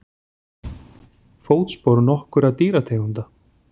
Fótspor nokkurra dýrategunda.